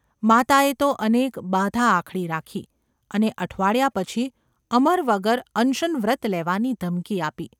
માતાએ તો અનેક બાધાઆખડી રાખી અને અઠવાડિયા પછી અમર વગર અનશનવ્રત લેવાની ધમકી આપી.